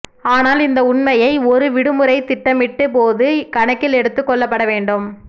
ஆனால் இந்த உண்மையை ஒரு விடுமுறை திட்டமிட்டு போது கணக்கில் எடுத்துக் கொள்ளப்பட வேண்டும்